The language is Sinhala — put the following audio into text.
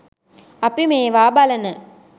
අපි මේවා බලන